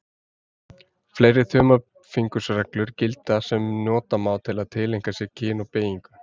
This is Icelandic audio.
Fleiri þumalfingursreglur gilda sem nota má til að tileinka sér kyn og beygingu.